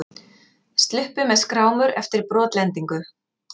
Sluppu með skrámur eftir brotlendingu